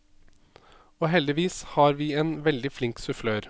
Og heldigvis har vi en veldig flink sufflør.